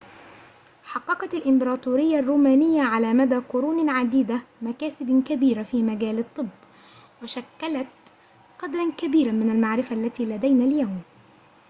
حققت الإمبراطورية الرومانية على مدى قرون عديدة مكاسب كبيرة في مجال الطب وشكّلت قدرًا كبيرًا من المعرفة التي لدينا اليوم